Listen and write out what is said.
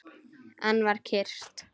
Enn var kyrrt.